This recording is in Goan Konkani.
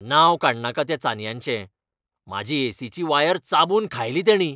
नांव काडनाका त्या चानयांचें, म्हाजी एसीची वायर चाबून खायली तेंणी.